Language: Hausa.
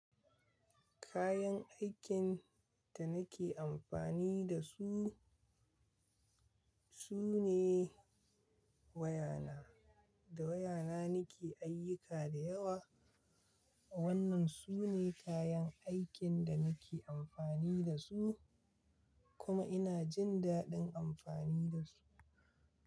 Kayan aikin da nake amfani da su, su ne waya na. Da waya na nake ayyuka da yawa. Wannan su ne kayan aikin da nake amfani da su kuma ina jin dadin amfani da su.